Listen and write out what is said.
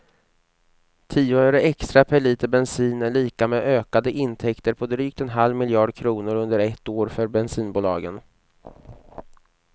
Tio öre extra per liter bensin är lika med ökade intäkter på drygt en halv miljard kronor under ett år för bensinbolagen.